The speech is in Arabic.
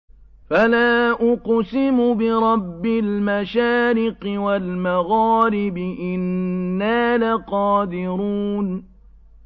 فَلَا أُقْسِمُ بِرَبِّ الْمَشَارِقِ وَالْمَغَارِبِ إِنَّا لَقَادِرُونَ